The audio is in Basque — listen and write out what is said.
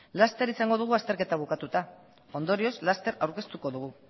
laster izango dugu azterketa bukatuta ondorioz laster aurkeztuko dugu